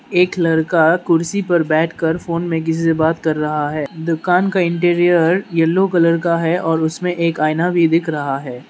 एक लड़का कुर्सी पर बैठ कर फोन में किसी से बात कर रहा है दुकान का इंटीरियर येलो कलर का है और उसमें एक आइना भी दिख रहा है।